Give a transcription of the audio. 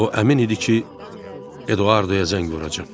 O əmin idi ki, Eduardoya zəng vuracam.